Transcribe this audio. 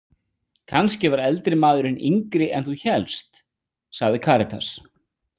Kannski var eldri maðurinn yngri en þú hélst, sagði Karítas.